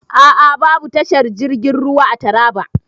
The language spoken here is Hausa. A a.babu tashar jirgin ruwa a Taraba.